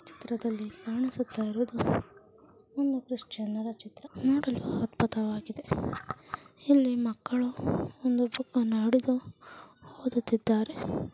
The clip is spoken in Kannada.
ಚಿತ್ರದಲ್ಲಿ ಕಾಣಿಸುತ್ತಾಯಿರುವುದು ಒಂದು ಕ್ರಿಶ್ಚಿಯನ್ ಅರಾ ಚಿತ್ರ. ನೋಡಲು ಅದ್ಭುತವಾಗಿದೆ. ಇಲ್ಲಿ ಮಕ್ಕಳು ಒಂದು ಬುಕ್ ಅನ್ನು ಹಿಡಿದ್ದು ಓದುತ್ತಿದ್ದಾರೆ.